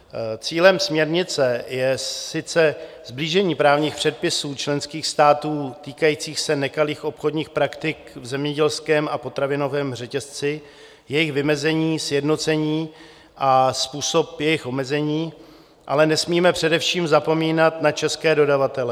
Cílem směrnice je sice sblížení právních předpisů členských států týkajících se nekalých obchodních praktik v zemědělském a potravinovém řetězci, jejich vymezení, sjednocení a způsob jejich omezení, ale nesmíme především zapomínat na české dodavatele.